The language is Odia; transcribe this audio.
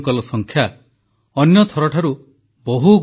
• ପ୍ରଧାନମନ୍ତ୍ରୀ ଗରିବ କଲ୍ୟାଣ ଯୋଜନା ରେ ଗରିବଙ୍କୁ ପ୍ରତ୍ୟକ୍ଷ ଲାଭ ହସ୍ତାନ୍ତରଣ